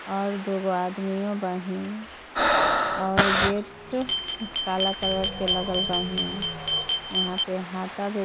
और दुगो आदमियों बाहीन और गेटो काला कलर के लागल बाहीन इहा पे हाता .]